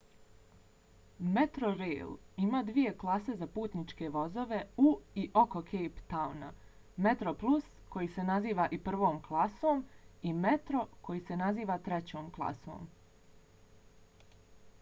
metrorail ima dvije klase za putničke vozove u i oko cape towna: metroplus koji se naziva i prvom klasom i metro koji se naziva trećom klasom